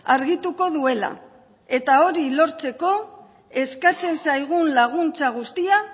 argituko duela eta hori lortzeko eskatzen zaigun laguntza guztia